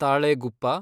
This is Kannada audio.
ತಾಳೆಗುಪ್ಪ